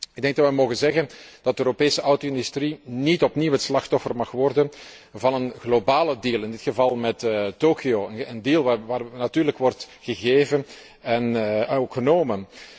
Ik denk dat we mogen zeggen dat de Europese auto industrie niet opnieuw het slachtoffer mag worden van een globale deal in dit geval met Tokio een deal waarbij natuurlijk wordt gegeven en genomen.